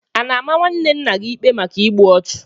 A na-ama nwanne nna gị ikpe maka igbu ọchụ?